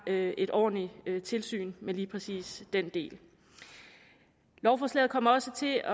et ordentligt tilsyn med lige præcis den del lovforslaget kommer også til